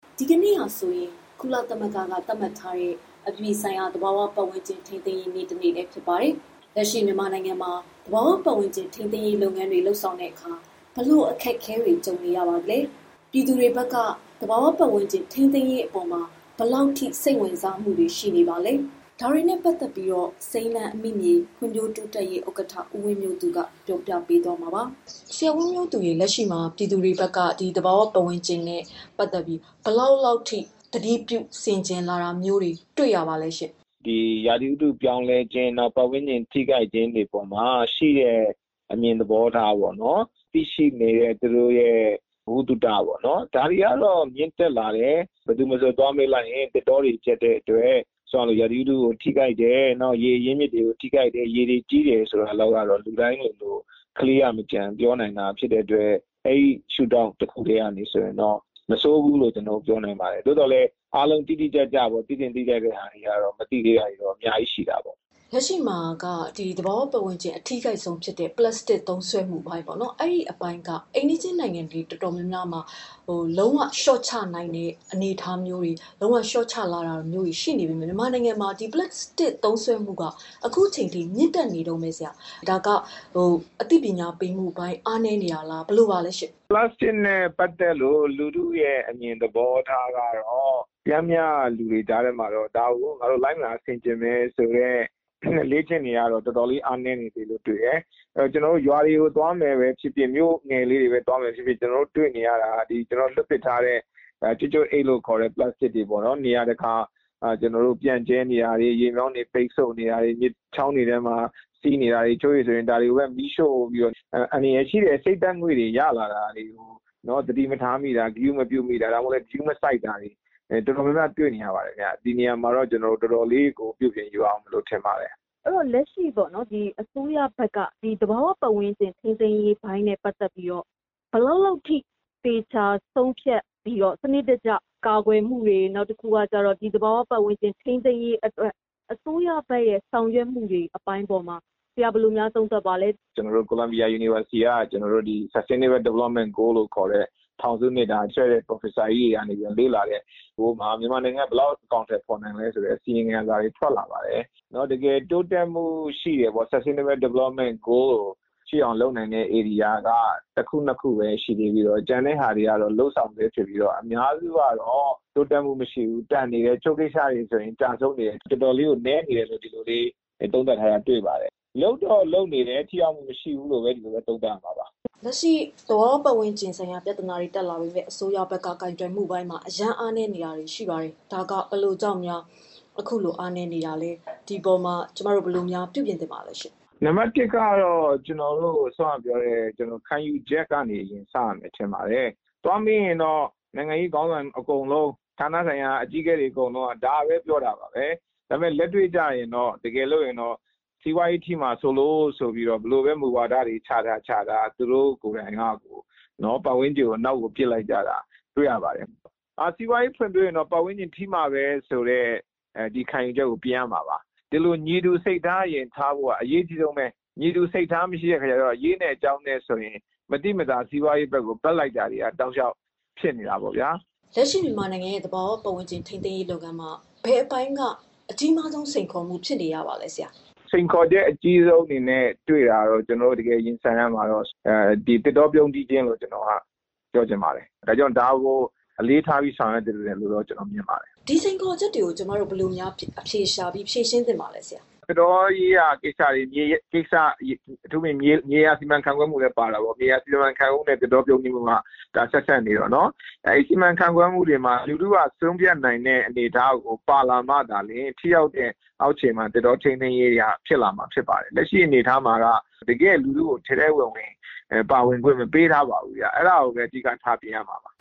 ဒီကနေ့ကတော့ ကုလသမဂ္ဂ သတ်မှတ်ထားတဲ့ အပြည်ပြည်ဆိုင်ရာ သဘာဝပတ်ဝန်းကျင် ထိန်းသိမ်းရေးနေ့ ဖြစ်ပါတယ်။ လက်ရှိမြန်မာနိုင်ငံမှာ သဘာဝပတ်ဝန်းကျင် ထိန်းသိမ်းမှု လုပ်ငန်းတွေမှာ ဘယ်လိုစိန်ခေါ်မှုတွေနဲ့ ရင်ဆိုင်နေရပါသလဲ၊ ပြည်သူတွေဘက်ကရော ဘယ်လောက်ထိ စိတ်ဝင်စားမှု ရှိလာသလဲဆိုတာတွေကို စိမ်းလန်းအမိမြေ ဖွံ့ဖြိုးတိုးတက်ရေးအသင်း ဥက္ကဋ္ဌ ဦးဝင်းမျိုးသူက ပြောပြပေးမှာပါ။ ဒီအကြောင်း ဗွီအိုအေမြန်မာပိုင်းသတင်းထောက် မမေခ လက်ရှိမှာ ပြည်သူတွေဘက်က သဘာဝပတ်ဝန်းကျင်နဲ့ ပတ်သက်ပြီး ဘယ်လောက်ထိ ဂရုပြုထိန်းသိမ်းလာတာ တွေ့ရပါသလဲ။ ရာသီဥတုပြောင်းလဲခြင်း၊ နောက် ပတ်ဝန်းကျင်ထိခိုက်ခြင်းတွေပေါ်မှာ ရှိတဲ့ အမြင်သဘောထားပေါ့နော်... သိရှိနေတဲ့ သူတို့ရဲ့ ဗဟုသုတပေါ့နော်... ဒါတွေက မြင့်တက်လာတယ်၊ ဘယ်သူမဆိုသွားမေးလိုက်ရင် သစ်တောတွေ ပျက်တဲ့အတွက် ရာသီဥတုကို ထိခိုက်တယ်၊ နောက် ရေအရင်းမြစ်ကို ထိခိုက်တယ်၊ ရေတွေကြီးတယ်ဆိုတာလောက်ကတော့ လူတိုင်းလိုလို ကလေးက အစ ပြောနိုင်လာတာဖြစ်တဲ့အတွက် ဒီအပိုင်းမှာတော့ မဆိုးဘူးပြောနိုင်ပါတယ်။ သို့ပေမဲ့ အားလုံးသိသင့်သိထိုက်တာတွေကတော့သိဖို့ အများကြီးရှိနေပါသေးတယ်။ လက်ရှိမှာ သဘာဝပတ်ဝန်းကျင်ထိခိုက်ဆုံးဖြစ်တဲ့ ပလတ်စတစ်သုံးစွဲမှုပိုင်းက အိမ်နီးချင်းနိုင်ငံ တော်တော်များများလျှော့ချလာချိန်မှာ မြန်မာနိုင်ငံမှာ ဒီပလတ်စတစ် သုံးစွဲမှုက လျှော့ချနိုင်တာ မရှိသေးဘူး။ ဒါကဘာကြောင့်လဲ အသိပညာပေးတာ အားနည်းနေပါလား။ သုံးစွဲမှုအပေါ်ဆရာဘယ်လို သုံးသပ်ပါလဲ။ ဒီပလတ်စတစ်နဲ့ ပတ်သတ်တဲ့ လူထုရဲ့အမြင်သဘောထားကတော့ ပျမ်းမျှလူတွေကြားထဲမှာတော့ ဒါကို ငါတို့ လိုက်နာဆင်ခြေမယ်ဆိုတဲ့ အလေ့အကျင့်တွေကတော်တော်လေး အားနည်းနေတယ်။ ကျနော်တို့ နယ်တွေသွားရင် လမ်းတွေပေါ်မှာ စွန့်ပစ်ထားတဲ့ ပလက်စတစ်တွေ ပြန့်ကြဲနေတာ၊ ရေမြောင်းတွေ ပိတ်နေတာ၊ မြစ်ချောင်းတွေထဲစီးနေတာ၊ တချို့ဆို ဒါတွေကို မီးရှို့တာ အန္တရာယ်ရှိတဲ့ အဆိပ်ဓါတ်ငွေ့တွေကို သတိမထားမိတာ သတိမပြုမိတာ၊ ဂရုမစိုက်ဘဲ လုပ်နေတာတွေက တော်တော်လေးတွေ့နေရတယ်။ ဒီအပေါ်မှာ ကျနော်တို့ တော်တော်လေးပြုပြင်ယူရဦးမယ် ထင်ပါတယ်။ လက်ရှိအစိုးရဘက်က သဘာဝပတ်ဝန်းကျင်ထိန်းသိမ်းရေး လုပ်တာမှာ ဘယ်လောက်လောက်ထိ သတိထားလုပ်ဆောင်တာ၊ ဒီအပေါ်သေချာဂရုတစိုက် လုပ်ဆောင်တာမျိုးတွေရှိပါသလဲ။ ကိုလံဘီယာ တက္ကသိုလ်ကနေထုတ်တဲ့ သဘာဝပတ်ဝန်းကျင်ဆိုင်ရာနဲ့ ပတ်သတ်လို့ ထောင်စု နှစ်အတွက် လေ့လာတဲ့ ပရော်ဖက်ဆာတွေရဲ့ အစီရင်ခံစာထုတ်ပြန်ချက်တခု ရက်ပိုင်းတွင်းထွက်ခဲ့တာ ရှိပါတယ်။ တကယ်တိုးတက်မှုရှိတဲ့အောင် လုပ်ဆောင်နိုင်တာက လုပ်ငန်း ၁ ခု၊ ၂ ခုပဲ ရှိပါတယ်။ ကျန်တာက လုပ်ဆောင်ဆဲ အများစုကတော့ တိုးတက်မှုမရှိတာ၊ တချို့ဆို ကျဆုံးတာတွေရှိတယ်လို့ ပြောထားတာရှိပါတယ်။ ဒီတော့ လုပ်တော့လုပ်နေတယ်။ ထိရောက်မှု မရှိဘုူးပြောရမှာပါ။ လက်ရှိသဘာဝပတ်ဝန်းကျင်နဲ့ ပတ်သတ်တဲ့ ပြဿနာတွေမှာ အစိုးရကိုင်တွယ်မှုပိုင်း အားနည်းတယ်လို့ ဝေဖန်မှုတွေ ရှိနေတယ်။ ဘယ်လိုကြောင့်အားနည်းတာလဲ ဒီအပေါ်ဘယ်လို ပြုပြင်ပြောင်းလဲရမလဲ။ ခံယူချက်ကနေအရင်စရမယ်ထင်ပါတယ်။ သွားမေးရင်တော့ နိုင်ငံရေးခေါင်းဆောင်အကုန်လုံး ဌာနဆိုင်ရာတွေအကုန် ဒါပဲပြောတယ်။ တကယ်လက်တွေ့ကျရင် စီးပွားရေးထိမှာ စိုးလို့ ဘယ်လိုမူဝါဒတွေပဲ ချထားချထား သဘာဝပတ်ဝန်းကျင်ကို နောက်ကို ပစ်ပယ်လိုက်တာပါပဲ။ စီးပွားရေးဖွံဖြိုးလိုရင်တော့ ပတ်ဝန်းကျင် ထိမှာပဲဆိုတဲ့ ခံယူချက်ကို ပြင်ရမှာပါ။ ညီတူစိတ်ထားထားဖို့ အရေးကြီးဆုံးပါပဲ။ ညီတူစိတ်ထား မထားတော့ အရေးရယ်၊ အကြောင်းရယ် စီးပွားရေးဘက်ကို ဘက်လိုက်တာ ရှိနေတာပေါ့ဗျာ။ လက်ရှိမြန်မာနိုင်ငံရဲ့သဘာဝပတ်ဝန်းကျင်ထိန်းသိမ်းရေးမှာ ဘယ်လိုစိန်ခေါ်မှုက အကြီးမားဆုံး စိန်ခေါ်မှုပါလဲ။ စိန်ခေါ်ချက်အကြီးဆုံးအနေနဲ့ ပြောပါဆိုရင် ကျနော်တို့ ရင်ဆိုင်ရတာက သစ်တောပြုန်းတီးခြင်းလို့ ပြောချင်ပါတယ်။ ဒါကို အလေးထားဆောင်ရွက်ဖို့ တိုက်တွန်းချင်ပါတယ်။ ဒီလိုစိန်ခေါ်ချက်တွေကို ကျမတို့ ဘယ်လို အဖြေရှာ ဖြေရှင်းသင့်ပါလဲ ဆရာ။ သစ်တောရေးရာကိစ္စတွေ အထူးသဖြင့် မြေယာစီမံခန့်ခွဲရေးကိစ္စတွေလည်းပါတာပေါ့။ မြေယာစီမံခန့်ခွဲတာနဲ့ သစ်တောပြုန်းတာ ဆက်စပ်နေတော့လေ။ အဲဒီစီမံခန့်ခွဲမှုမှာ လူထုက ဆုံးဖြတ်နိုင်တဲ့ အနေအထားကို ပါလာမှသာလျှင် ဒီအပိုင်းကို အောက်ခြေမှာ ထိရောက်တဲ့ သစ်တောထိန်းသိမ်းတာတွေ ဖြစ်လာမှာဖြစ်တယ်။ လက်ရှိအနေအထားမှာက တကယ့်လူထုကို ထဲထဲဝင်ဝင် ပါဝင်ခွင့်မပေးထားပါဘူးဗျ။ အဲဒါကိုပဲ အဓိကထားပြင်ရမှာပါ